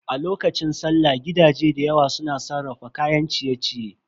A lokacin sallah gidaje dayawa su na sarrafa kayan ciye-ciye.